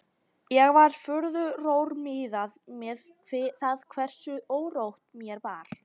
Ég var furðu rór miðað við það hversu órótt mér var.